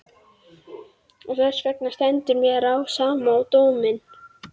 Og þessvegna stendur mér á sama um dóminn.